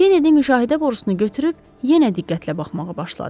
Kenedi müşahidə borusunu götürüb yenə diqqətlə baxmağa başladı.